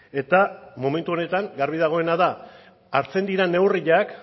eta momentu honetan garbi dagoena da hartzen diren neurriak